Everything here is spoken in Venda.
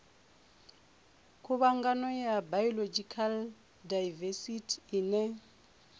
khuvhangano ya biological daivesithi ine